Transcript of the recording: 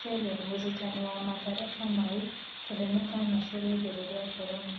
Chege : Mũrutani wa Mathare Kamau kũhe mũkana Chege ĩgũrũ rĩa Korona.